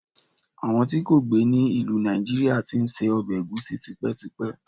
àwọn ti kò gbe ni ilu Naijiria ti n se obe egusi tipetipe